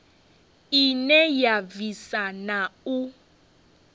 ine ya bvisa na u